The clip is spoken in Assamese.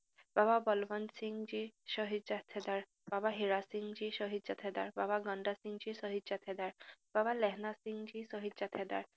বাবা বলৱন্তসিংজী শ্বহীদ জাথেদাৰ, বাবা হিৰাসিংজী শ্বহীদ জাথেদাৰ, বাবা গন্দসিংজী শ্বহীদ জাথেদাৰ, বাবা লেহনাসিংজী শ্বহীদ জাথেদাৰ